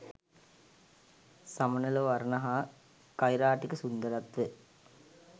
සමනළ වර්ණ හා කෛරාටික සුන්දරත්වය